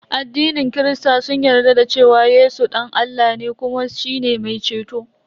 Addinin kirista sun yarda da cewa Yesu dan Allah ne kuma shine mai ceto.